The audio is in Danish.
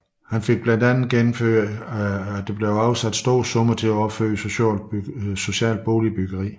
Blandt andet fik han gennemført afsættelse af store summer til opførelsen af socialt boligbyggeri